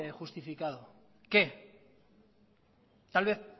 justificado qué tal vez